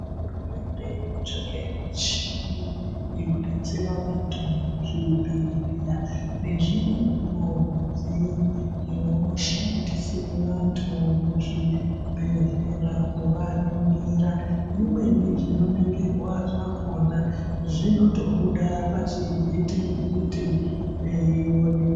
Hurumende irikutsvake michini yekudetsere vantu muzvibhedhlera nezvimeniwo zvimidziyo zvinoshandise vantu muzvibhedhlera kuvaningira. Zvimweni zvinoningirwa zvakhona zvinotobuda pazvivhiti-vhiti.